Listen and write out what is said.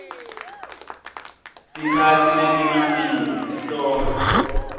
tikatsi letimatima sihloko